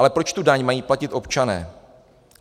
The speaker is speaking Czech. Ale proč tu daň mají platit občané?